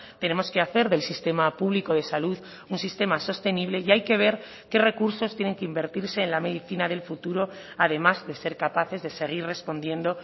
tenemos que hacer del sistema público de salud un sistema sostenible y hay que ver qué recursos tienen que invertirse en la medicina del futuro además de ser capaces de seguir respondiendo